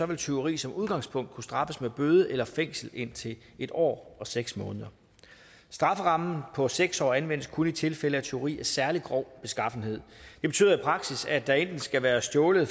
vil tyveri som udgangspunkt kunne straffes med bøde eller fængsel i indtil en år og seks måneder strafferammen på seks år anvendes kun i tilfælde af tyveri af særlig grov beskaffenhed det betyder i praksis at der enten skal være stjålet